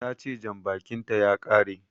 Tace Janbakin ta ya kare